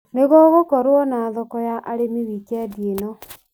Nĩgũgũkorwo na thoko ya arĩmi wikendi ĩno .